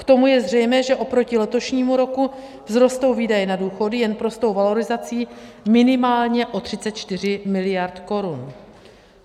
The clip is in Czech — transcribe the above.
K tomu je zřejmé, že oproti letošnímu roku vzrostou výdaje na důchody jen prostou valorizací minimálně o 34 mld. korun.